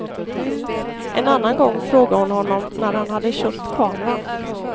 En annan gång frågade hon honom när han hade köpt kameran.